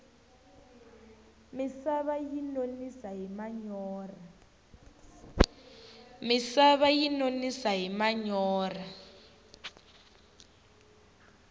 misava yi nonisa hi manyorha